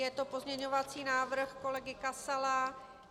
Je to pozměňovací návrh kolegy Kasala.